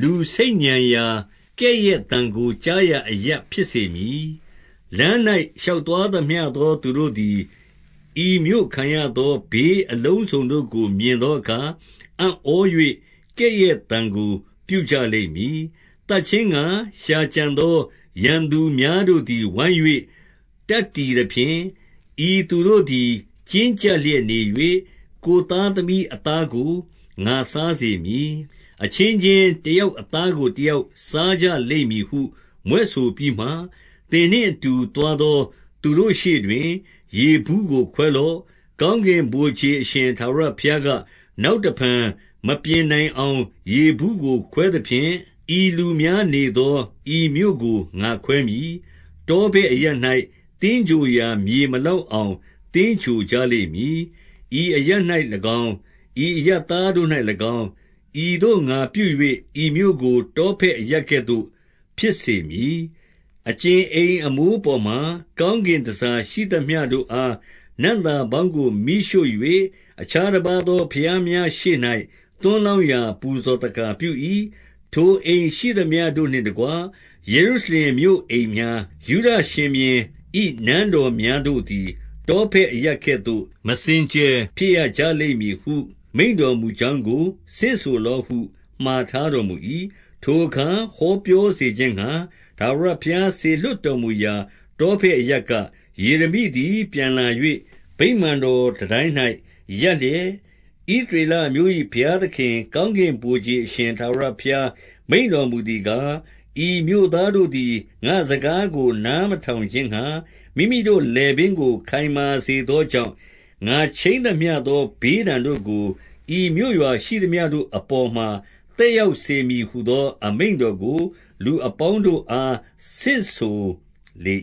လူဆိတ်ညံရာ၊ ကဲ့ရဲ့သံကို ကြားရာအရပ်ဖြစ်စေမည်။ လမ်း၌ရှောက်သွားသမျှသော သူတို့သည် ဤမြို့ခံရသော ဘေးအလုံးစုံတို့ကို မြင်သော အခါ၊ အံ့ဩ၍ ကဲ့ရဲ့သံကို ပြုကြလိမ့်မည်။ 9 သတ်ခြင်းငှါ ရှာကြံသောရန်သူများတို့သည် ဝိုင်း၍ တပ်တည်သဖြင့်၊ ဤသူတို့သည် ကျဉ်းကျပ်လျက် နေ၍၊ ကိုယ်သားသမီး အသားကို ငါစားစေမည်။ အချင်း ချင်းတယောက်အသားကို တယောက်စားကြလိမ့်မည်ဟု မြွက်ဆိုပြီးမှ၊ 10 သင်နှင့်အတူ သွားသောသူတို့ရှေ့တွင်၊ ရေဘူး ကိုခွဲလော့။ 11 ကောင်းကင်ဗိုလ်ခြေအရှင်ထာဝရဘုရားက၊ နောက်တဖန်မပြင်နိုင်အောင် ရေဘူးကို ခွဲသကဲ့သို့၊ ဤလူများနေသော ဤမြို့ကို ငါခွဲမည်။ တောဖက်အရပ်၌ သင်္ဂြိုဟ်ရာမြေ မလောက်အောင် သင်္ဂြိုဟ်ကြလိမ့်မည်။ 12 ဤအရပ်၌၎င်း၊ ဤအရပ်သားတို့၌၎င်း၊ ဤသို့ ငါပြု၍ ဤမြို့ကို တောဖက်အရပ်ကဲ့သို့ ဖြစ်စေမည်။ 13 အကြင်အိမ်မိုးအပေါ်မှာ ကောင်းကင်တန်ဆာ ရှိသမျှုတို့အား နံ့သာပေါင်းကို မီးရှို့၍၊ အခြားတပါးသော ဘုရားများရှေ့၌ သွန်းလောင်းရာပူဇော်သက္ကာပြု၏။ ထိုအိမ်ရှိသမျှတို့နှင့်တကွ ယေရုရှလင်မြို့ အိမ်များ၊ ယုဒ ရှင်ဘုရင်၏ နန်းတော်များတို့သည် တောဖက်အရပ်ကဲ့သို့ မစင်ကြယ်ဖြစ်ရကြလိမ့်မည်ဟု မိန့်တော်မူကြောင်းကို ဆင့်ဆိုလော့ဟု မှာထားတော်မူ၏။ 14 ထိုအခါ ဟောပြောစေခြင်းငှါ၊ ထာဝရဘုရား စေလွှတ်တော်မူရာ တောဖက်အရပ်က၊ ယေရမိသည် ပြန်လာ၍ ဗိမာန်တော်တန်တိုင်း၌ ရပ်လျက်၊ 15 ဣသရေလအမျိုး၏ ဘုရားသခင်၊ ကောင်းကင် ဗိုလ်ခြေအရှင် ထာဝရဘုရား မိန့်တော်မူသည်ကား၊ ဤမြို့သားတို့သည် ငါ့စကားကို နားမထောင်ခြင်းငှါ၊ မိမိတို့ လည်ပင်းကို ခိုင်မာစေသောကြောင့်၊ ငါခြိမ်းသမျှ သောဘေးဒဏ်တို့ကို၊ ဤမြို့ရွာရှိသမျှတို့အပေါ်မှာ သက်ရောက်စေမည်ဟူသော အမိန့်တော်ကို လူအပေါင်း တို့အား ဆင့်ဆိုလေ